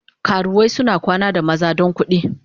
Karuwai suna kwana da maza don kudi.